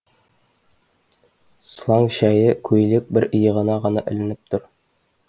сылаң шәйі көйлек бір иығына ғана ілініп тұр